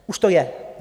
Už to je?